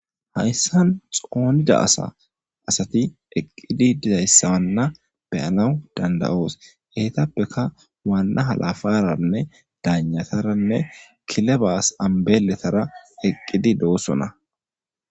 Haysan xoonidi diza asay eqidi dizaysana be'anawu danda'os eetapeka waana halaferane dagnatarane kilebas ambeletara eqidi de'osona.